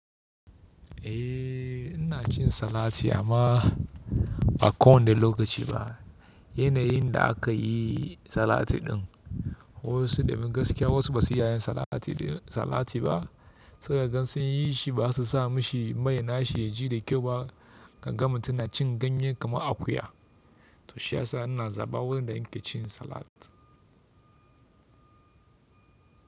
Eh, ina cin salati amma ba ko wanne lokaci ba. Yanayin da aka yi salati din. Wasu da bin gaskiya wasu basu iya yin salati ɗin salati ba. Sai ka gan sun yi shi ba su sa mishi mai na shi ya ji da kyau ba. Kagan mutum na cin ganye kamar akuya. To shi ya sa ina zaɓa wurin da in ke cin salat.